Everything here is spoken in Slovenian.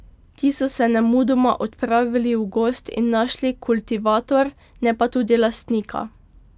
Ti so se nemudoma odpravili v gozd in našli kultivator, ne pa tudi lastnika.